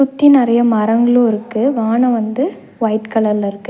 சுத்தி நெறையா மரங்களு இருக்கு வானோ வந்து ஒயிட் கலர்ல இருக்கு.